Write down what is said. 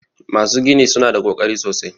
Masu gini su na da ƙoƙari sosai.